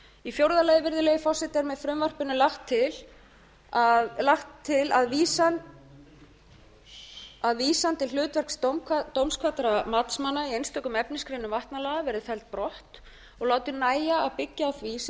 í fjórða lagi virðulegi forseti er með frumvarpinu lagt til að vísan til hlutverks dómkvaddra matsmanna í einstökum efnisgreinum vatnalaga verði felld brott og látið nægja að byggja á því sem